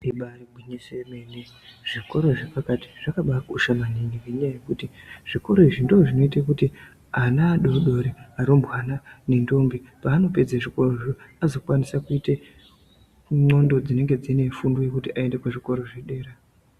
Ibari gwinyiso remene zvikora zvepakati zvakabakosha maningi ngenyaya yekuti ana adodori varumbwana nentombi panopedza zvikora zvoo azokwanisa kuite nxondo dzinenge dzinefundo yekuti aende kuzvikora zvedera.